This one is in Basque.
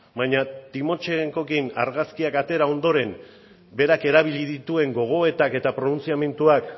baina timochenkorekin argazkiak atera ondoren berak erabili dituen gogoetak eta pronuntziamenduak